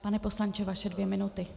Pane poslanče, vaše dvě minuty.